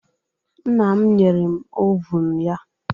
Nna m nyere m ovun ya